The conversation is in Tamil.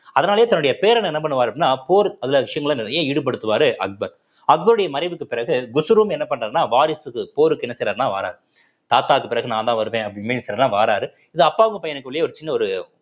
அதனாலேயே தன்னுடைய பேரனை என்ன பண்ணுவாரு அப்படின்னா போர் அதுல விஷயங்களை நிறைய ஈடுபடுத்துவாரு அக்பர் அக்பருடைய மறைவுக்குப் பிறகு குஷ்ரூம் என்ன பண்றாருன்னா வாரிசுக்கு போருக்கு என்ன செய்றார்ன்னா வாறார் தாத்தாக்கு பிறகு நான்தான் வருவேன் வாறாரு இது அப்பாவுக்கு பையனுக்குள்ளேயே ஒரு சின்ன ஒரு